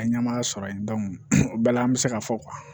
Ka ɲama sɔrɔ yen o bɛɛ la an bɛ se k'a fɔ